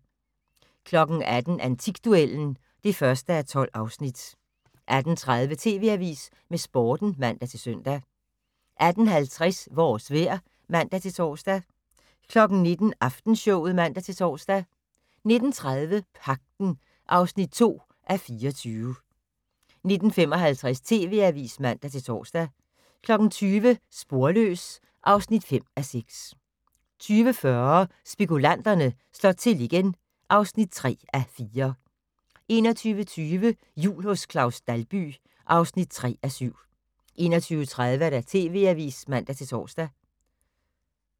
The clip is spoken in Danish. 18:00: Antikduellen (1:12) 18:30: TV Avisen med Sporten (man-søn) 18:50: Vores vejr (man-tor) 19:00: Aftenshowet (man-tor) 19:30: Pagten (2:24) 19:55: TV Avisen (man-tor) 20:00: Sporløs (5:6) 20:40: Spekulanterne slår til igen (3:4) 21:20: Jul hos Claus Dalby (3:7) 21:30: TV Avisen (man-tor)